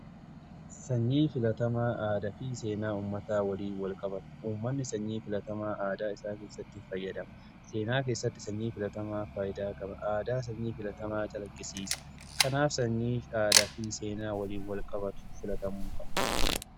Sanyiin filatamaa aadaa fi seenaa ummataa waliin wal qabata. Uummanni sanyii filatamaa aadaa isaa keessatti faayyadama. Seenaa keessatti sanyii filatamaa faayidaa qaba. Aadaa sanyii filatamaa calaqqisiisa. Kanaaf sanyiif aadaa fi seenaa waliin wal qabatu filatamuu qaba.